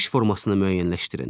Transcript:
İş formasını müəyyənləşdirin.